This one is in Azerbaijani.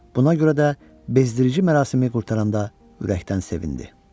Buna görə də bezdirici mərasimi qurtaranda ürəkdən sevindi.